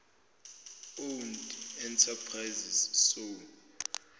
owned enterprises soe